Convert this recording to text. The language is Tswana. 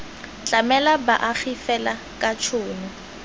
tlamela baagi fela ka tshono